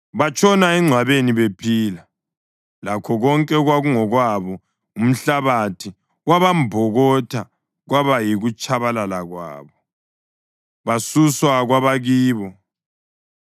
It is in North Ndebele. Batshona engcwabeni bephila, lakho konke okwakungokwabo; umhlabathi wabambokotha, kwaba yikutshabalala kwabo, basuswa kwabakibo.